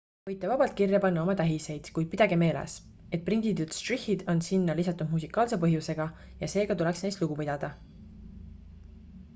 võite vabalt kirja panna oma tähiseid kuid pidage meeles et prinditud štrihhid on sinna lisatud musikaalse põhjusega ja seega tuleks neist lugu pidada